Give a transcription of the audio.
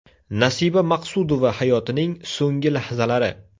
Nasiba Maqsudova hayotining so‘nggi lahzalari.